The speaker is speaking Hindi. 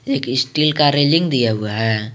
एक स्टील का रेलिंग दिया हुआ है।